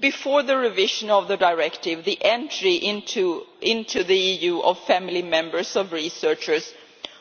Before the revision of the Directive, the entry into the EU of family members of researchers